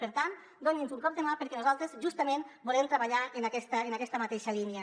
per tant doni’ns un cop de mà perquè nosaltres justament volem treballar en aquesta en aquesta mateixa línia